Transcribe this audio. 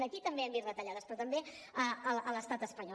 aquí també hem vist retallades però també a l’estat espanyol